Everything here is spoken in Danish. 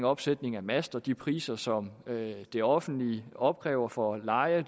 opsætning af master og de priser som det offentlige opkræver for leje af